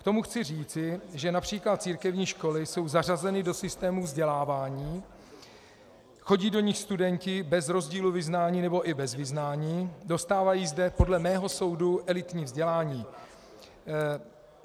K tomu chci říci, že například církevní školy jsou zařazeny do systému vzdělávání, chodí do nich studenti bez rozdílu vyznání nebo i bez vyznání, dostávají zde podle mého soudu elitní vzdělání.